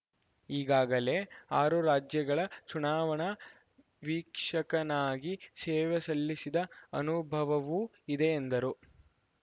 ಈಗಾಗಲೇ ಆರು ರಾಜ್ಯಗಳ ಚುನಾವಣಾ ವೀಕ್ಷಕನಾಗಿ ಸೇವೆ ಸಲ್ಲಿಸಿದ ಅನುಭವವೂ ಇದೆ ಎಂದರು